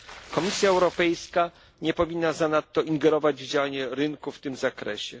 Komisja Europejska nie powinna zanadto ingerować w działanie rynku w tym zakresie.